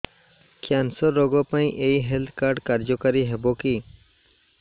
cancer ରୋଗ ପାଇଁ ଏଇ ହେଲ୍ଥ କାର୍ଡ କାର୍ଯ୍ୟକାରି ହେବ କି